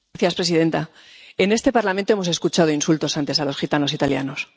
Señora presidenta, en este Parlamento hemos escuchado insultos antes a los gitanos italianos.